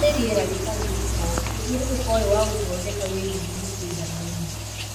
Harĩ rĩera rĩrĩa rĩtarĩ gĩko, mũthiũrũrũko ũyũ wa gũthondeka wĩ gĩthiminĩ kĩiganaine.